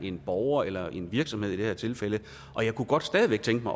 en borger eller en virksomhed i det her tilfælde og jeg kunne godt stadig væk tænke